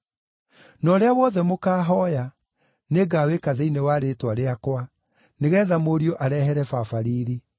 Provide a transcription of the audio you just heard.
Na ũrĩa wothe mũkahooya, nĩngawĩka thĩinĩ wa rĩĩtwa rĩakwa, nĩgeetha Mũriũ arehere Baba riiri.